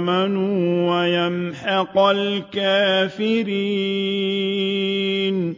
آمَنُوا وَيَمْحَقَ الْكَافِرِينَ